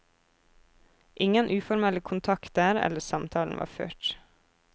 Ingen uformelle kontakter eller samtaler var ført.